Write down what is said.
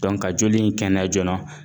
ka joli in kɛnɛya joona.